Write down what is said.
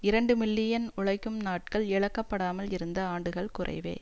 இரண்டு மில்லியன் உழைக்கும் நாட்கள் இழக்கப்படாமல் இருந்த ஆண்டுகள் குறைவே